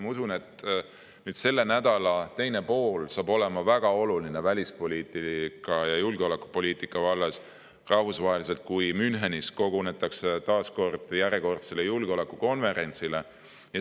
Ma usun, et selle nädala teine pool on välispoliitika ja julgeolekupoliitika vallas rahvusvaheliselt väga oluline, kui Münchenis kogunetakse järjekordsele julgeolekukonverentsile.